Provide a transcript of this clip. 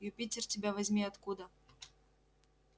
юпитер тебя возьми откуда